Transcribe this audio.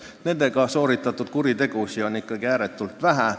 Legaalsete relvadega sooritatud kuritegusid on ikkagi ääretult vähe.